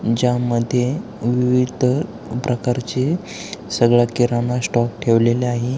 ज्या मध्ये विविध प्रकारचे सगळा किराणा स्टॉक ठेवलेले आहे.